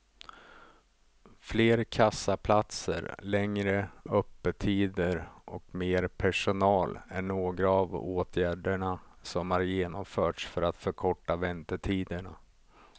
Fler kassaplatser, längre öppettider och mer personal är några av åtgärderna som har genomförts för att förkorta väntetiderna.